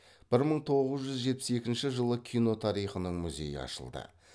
бір мың тоғыз жүз жетпіс екінші жылы кино тарихының музейі ашылды